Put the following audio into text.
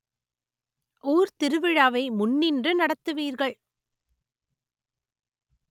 ஊர் திருவிழாவை முன்னின்று நடத்துவீர்கள்